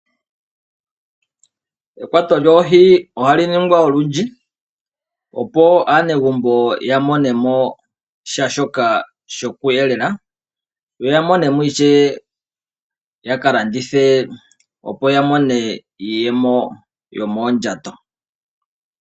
Ekwayo lyooho ohali ningwa olwindji, opo aanegumbo yamone mo oshiyelelwa, osho wo okulanditha opo ya vule okumona iiyemo yomondjato.